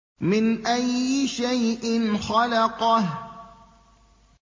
مِنْ أَيِّ شَيْءٍ خَلَقَهُ